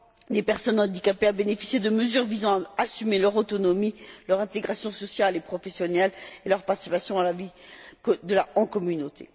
des personnes handicapées à bénéficier de mesures visant à assurer leur autonomie, leur intégration sociale et professionnelle et leur participation à la vie en communauté.